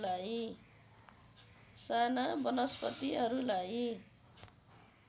साना वनस्पतिहरूलाई